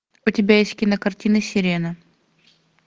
у тебя есть кинокартина сирена